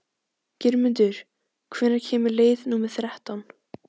Geirmundur, hvenær kemur leið númer þrettán?